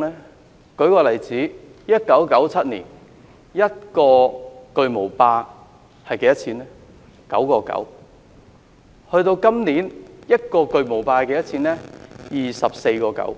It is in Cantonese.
我舉個例子 ，1997 年，一個巨無霸要 9.9 元，到了今年，一個巨無霸要 24.9 元，